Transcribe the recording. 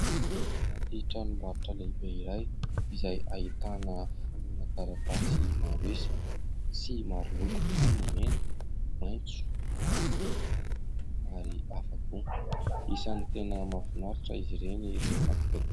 Anaty tranom-barotra lehibe iray izay ahitana fonina taratasy maro isa sy maro loko, ao ny mena, maitso, mavo, manga ary hafa koa, isany tena mahafinaritra izy ireny rehefa ...